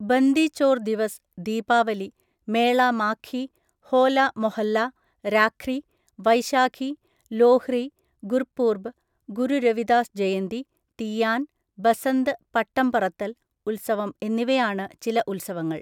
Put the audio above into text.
ബന്ദി ചോർ ദിവസ് (ദീപാവലി), മേള മാഘി, ഹോല മൊഹല്ല, രാഖ്രി, വൈശാഖി, ലോഹ്രി, ഗുർപൂർബ്, ഗുരു രവിദാസ് ജയന്തി, തീയാൻ, ബസന്ത് പട്ടം പറത്തല്‍ ഉത്സവം എന്നിവയാണ് ചില ഉത്സവങ്ങൾ.